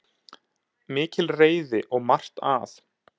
Mikil reiði og margt að